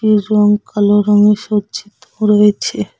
এ রং কালো রঙে সজ্জিত রয়েছে।